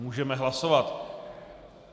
Můžeme hlasovat.